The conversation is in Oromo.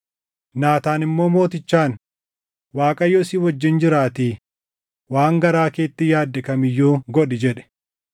Naataan immoo mootichaan, “ Waaqayyo si wajjin jiraatii waan garaa keetti yaadde kam iyyuu godhi” jedhe.